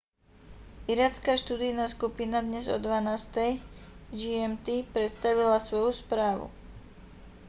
iracká študijná skupina dnes o 12.00 gmt predstavila svoju správu